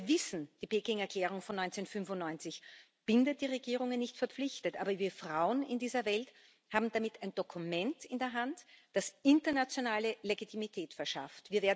Wir wissen, die Pekinger Erklärung von 1995 bindet die Regierungen nicht verpflichtend, aber wir Frauen in dieser Welt haben damit ein Dokument in der Hand, das internationale Legitimität verschafft.